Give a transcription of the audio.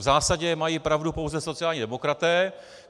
V zásadě mají pravdu pouze sociální demokraté.